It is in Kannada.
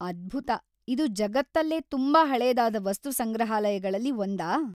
ಅದ್ಭುತ! ಇದು ಜಗತ್ತಲ್ಲೇ ತುಂಬಾ ಹಳೇದಾದ ವಸ್ತು ಸಂಗ್ರಹಾಲಯಗಳಲ್ಲಿ ಒಂದಾ?